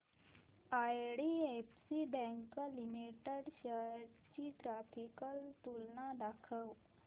IDFC bank limited shares ची graphical तुलना दाखव